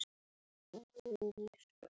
Góð kona, Saga.